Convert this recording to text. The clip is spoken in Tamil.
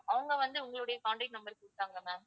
அவங்க வந்து உங்களுடைய contact number கொடுத்தாங்க ma'am